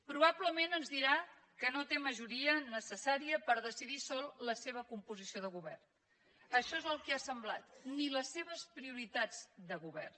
probablement ens dirà que no té majoria necessària per decidir sol la seva composició de govern això és el que ha semblat ni les seves prioritats de govern